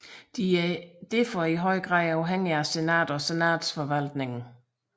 De er derfor i høj grad afhængige af senatet og senatsforvaltningen